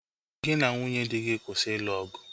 Gị na nwunye dị gị kwụsị ịlụ ọgụ!